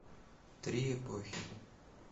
три эпохи